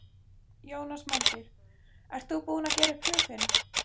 Jónas Margeir: Ert þú búinn að gera upp hug þinn?